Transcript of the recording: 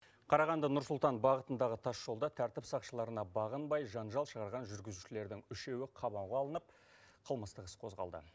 қарағанды нұр сұлтан бағытындағы тасжолда тәртіп сақшыларына бағынбай жанжал шығарған жүргізушілердің үшеуі қамауға алынып қылмыстық іс қозғалды